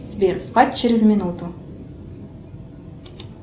сбер спать через минуту